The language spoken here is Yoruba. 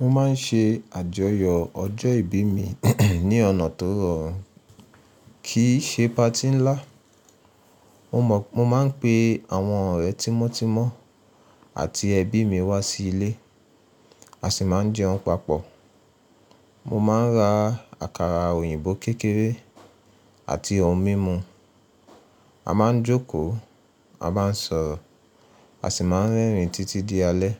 Mo má n ṣe àjọyọ̀ ọjọ́ ìbí mi ní ọ̀nà tó rọrùn, kì í ṣe patí ńlá. Mo má n pe àwọn ọ̀rẹ́ tímọ́tímọ́ àti ẹbí mi wá sí ilé, a sì má n jẹun papọ̀. Mo má n ra àkàrà òyìnbó kékeré àti ohun mímu. A má n jókòó, a má n sọ̀rọ̀, a sì má n rẹ́rìn títí di alẹ́.